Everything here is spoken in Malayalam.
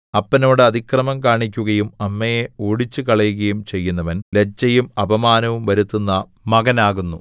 അപ്പനോട് അതിക്രമം കാണിക്കുകയും അമ്മയെ ഓടിച്ചുകളയുകയും ചെയ്യുന്നവൻ ലജ്ജയും അപമാനവും വരുത്തുന്ന മകനാകുന്നു